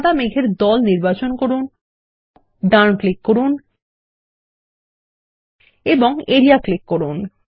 সাদা মেঘ এর দল নির্বাচন করুন ডান ক্লিক করুন এবং এরিয়া ক্লিক করুন